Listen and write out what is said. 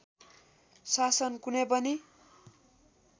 शासन कुनै पनि